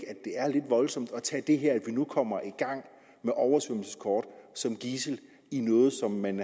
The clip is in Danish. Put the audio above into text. det er lidt voldsomt at tage det her at vi nu kommer i gang med oversvømmelseskort som gidsel i noget som man